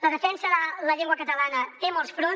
la defensa de la llengua catalana té molts fronts